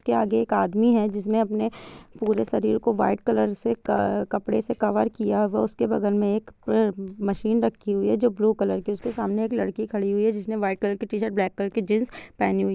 के आगे एक आदमी है जिसने अपने पूरे शरीर को व्हाइट कलर से कपड़े से कवर किया हूआ| उसके बगल मे एक मशीन रखी हुई है जो ब्लू कलर की है| उसके सामने एक लड़की खड़ी हुई है जिसने व्हाइट कलर की टी-शर्ट ब्लैक कलर की जिन्स पहनी हुई है।